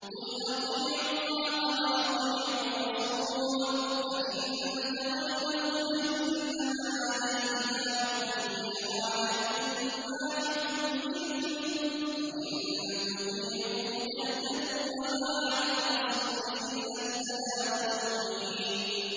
قُلْ أَطِيعُوا اللَّهَ وَأَطِيعُوا الرَّسُولَ ۖ فَإِن تَوَلَّوْا فَإِنَّمَا عَلَيْهِ مَا حُمِّلَ وَعَلَيْكُم مَّا حُمِّلْتُمْ ۖ وَإِن تُطِيعُوهُ تَهْتَدُوا ۚ وَمَا عَلَى الرَّسُولِ إِلَّا الْبَلَاغُ الْمُبِينُ